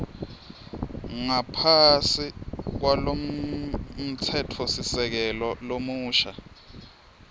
ngaphasi kwalomtsetfosisekelo lomusha